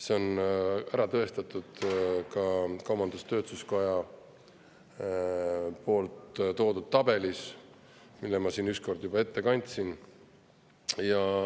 See on ära tõestatud ka kaubandus-tööstuskoja toodud tabelis, mille ma siin ükskord juba ette kandsin.